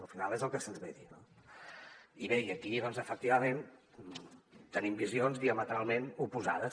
al final és el que se’ns ve a dir no i bé i aquí doncs efectivament tenim visions diametralment oposades